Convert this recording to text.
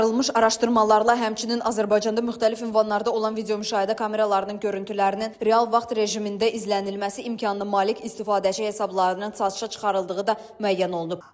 Aparılmış araşdırmalarla həmçinin Azərbaycanda müxtəlif ünvanlarda olan videomüşahidə kameralarının görüntülərinin real vaxt rejimində izlənilməsi imkanına malik istifadəçi hesablarının satışa çıxarıldığı da müəyyən olunub.